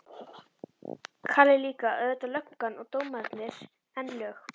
Kalli líka, og auðvitað löggan og dómararnir, en lög